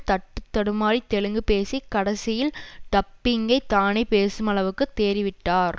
தட்டு தடுமாறி தெலுங்கு பேசி கடைசியில் டப்பிங்கை தானே பேசுமளவுக்கு தேறி விட்டார்